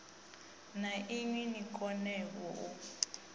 na inwi ni konevho u